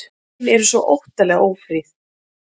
Hin eru svo óttalega ófríð.